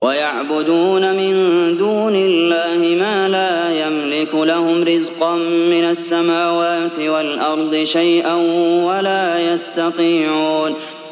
وَيَعْبُدُونَ مِن دُونِ اللَّهِ مَا لَا يَمْلِكُ لَهُمْ رِزْقًا مِّنَ السَّمَاوَاتِ وَالْأَرْضِ شَيْئًا وَلَا يَسْتَطِيعُونَ